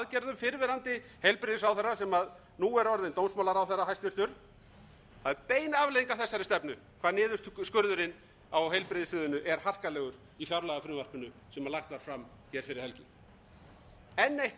fyrrverandi heilbrigðisráðherra sem nú er orðinn dómsmálaráðherra hæstvirtur það er bein afleiðing af þessari stefnu hvað niðurskurðurinn á heilbrigðissviðinu er harkalegur í fjárlagafrumvarpinu sem lagt var fram hér fyrir helgi enn eitt dæmið út